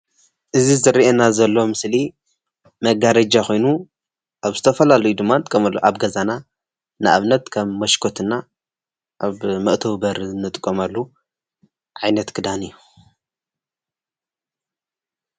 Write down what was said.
እዚ ዝረአየና ዘሎ ምስሊ መጋረጃ ኮይኑ ኣብ ዝተፈላለዩ ድማ ንጥቀመሉ እዩ፡፡ ኣብ ገዛና ንኣብነት ከም መሽኮት እና ኣብ መእተዊ በሪ እንጥቀመሉ ዓይነት ክዳን እዩ፡፡